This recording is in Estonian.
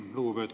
Aitäh!